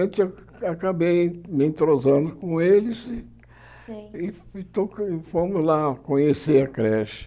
Então, eu acabei me entrosando com eles Sei E to e fomos lá conhecer a creche.